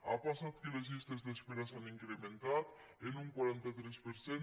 ha passat que les llistes d’espera s’han incrementat en un quaranta tres per cent